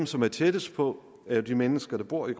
som er tættest på er de mennesker der bor i